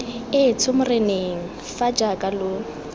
etsho moreneng fa jaaka lo